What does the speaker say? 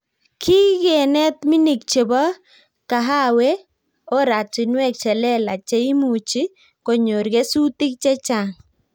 kikenet minik chebo kahaweh oratinwek che lelach cheimuchi konyor kesutik che chang